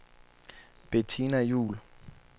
Bettina Juhl